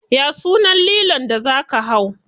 Ya sunan lilon da za ka hau?